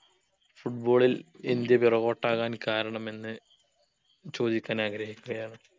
football ൽ India പിറകോട്ടാകാൻ കാരണമെന്ന് ചോദിക്കാൻ ആഗ്രഹിക്കുക്കയാണ്